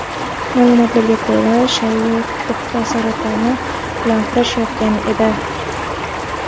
Ma’lumotlarga ko‘ra, Chayya o‘pka saratoni bilan kurashayotgan edi.